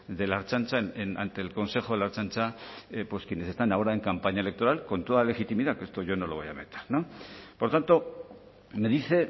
de la ertzaintza ante el consejo de la ertzaintza pues quienes están ahora en campaña electoral con toda legitimidad que esto yo no lo voy a por tanto me dice